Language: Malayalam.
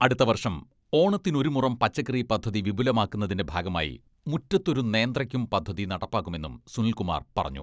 അടുത്ത വർഷം ഓണത്തിനൊരുമുറം പച്ചക്കറി പദ്ധതി വിപുലമാക്കുന്നതിന്റെ ഭാഗമായി മുറ്റത്തൊരു നേന്ത്രക്കും പദ്ധതി നടപ്പാക്കുമെന്നും സുനിൽകുമാർ പറഞ്ഞു.